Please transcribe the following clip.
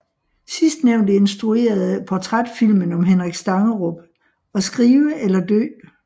Sidstnævnte instruerede portrætfilmen om Henrik Stangerup At skrive eller dø